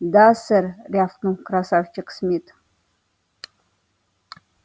да сэр рявкнул красавчик смит